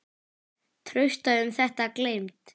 Trausta um þetta gleymd.